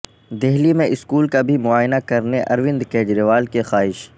دہلی میں اسکول کا بھی معائنہ کرنے اروند کجریوال کی خواہش